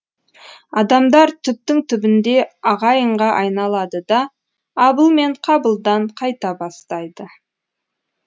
адамдар түптің түбінде ағайынға айналады да абыл мен қабылдан қайта бастайды